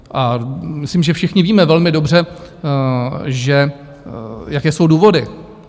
A myslím, že všichni víme velmi dobře, jaké jsou důvody.